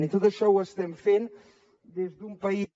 i tot això ho estem fent des d’un país